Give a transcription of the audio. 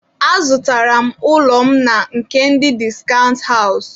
Azụtara m ụlọ m na nke ndị discount house.